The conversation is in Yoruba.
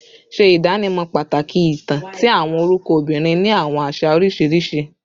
Ṣe idanimọ pataki itan ti awọn orukọ obinrin ni awọn aṣa oriṣiriṣi